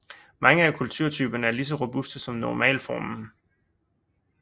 Mange af kulturtyperne er lige så robuste som normalformen